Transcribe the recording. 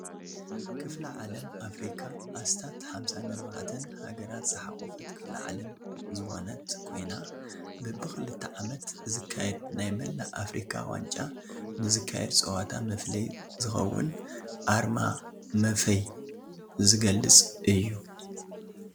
ክፍለ ዓለም ኣፍሪካ ኣስታት 54ተን ሃገራት ዝሓቆፈት ክፍሊ ዓለም ዝኮነት ኮይና በቢ ክልተ ዓመት ዝካየድ ናይ መላእ ኣፍሪካ ዋንጫ ንዝካየድ ፀዋታ መፍለዪ ዘኸውን ኣርማ መፈይ ዝገልፅ እዩ::